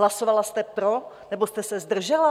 Hlasovala jste pro, nebo jste se zdržela?